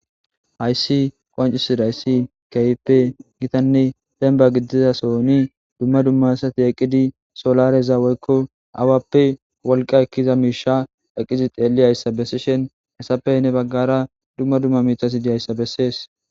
Haysi qoncisidayi kehippe gittanne demba gididason dumma dumma asati eqidi solareza woyko awappe wolqa Eliza Misha eqidi xellizaysa besishin hesappe heni bagara dumma dumma mithati dizaysa beses.